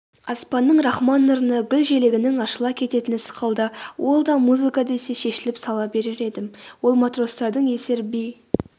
аспанның рахман нұрына гүл желегінің ашыла кететіні сықылды ол да музыка десе шешіліп сала берер еді ол матростардың есер би